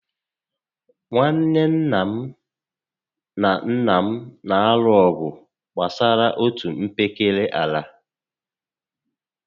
Nwanne nna m na nnà m na alụ ọgụ gbásárá otú mpekere àlà